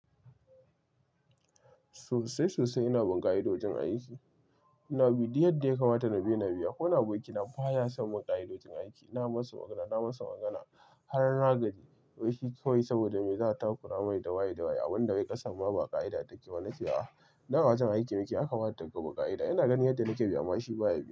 Sosai sosai ina bunkaya da wajen aiki. Ina bi duk yadda ya kamata na bi ina biya. Akwai wani abokina baya son bin ka'idojin aiki, na masa magana, na masa magana har nagaji. Wai shi kawai saboda me za a takura mai da waye da waye abunda wai ƙasar ma ba ƙa'ida take ba. Na ce a, nan a wajen aiki muke yakamata mubi ƙa'ida. Ina ganin yadda nake bi, amma shi baya biya bi.